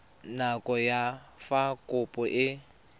nako ya fa kopo e